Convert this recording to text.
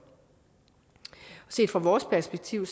set fra vores perspektiv